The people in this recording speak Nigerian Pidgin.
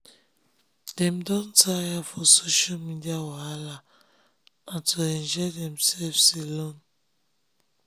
dem don tire for social media wahala na to enjoy demselves alone